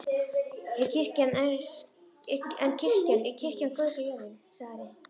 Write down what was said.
En kirkjan er kirkja Guðs á jörðinni, sagði Ari.